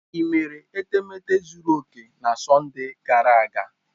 Ị mere etemeete zuru oke na Sọnde gara aga?